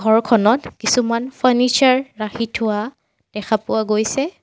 ঘৰখনত কিছুমান ফাৰ্ণিচাৰ ৰাখি থোৱা দেখা পোৱা গৈছে।